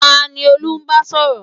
Tani Olú ń bá sọ̀rọ̀?